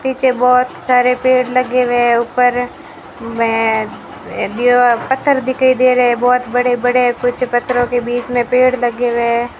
पीछे बहोत सारे पेड़ लगे हुए ऊपर में दिवा पत्थर दिखाई दे रहे हैं बहोत बड़े बड़े कुछ पत्थरों के बीच में पेड़ लगे हुए --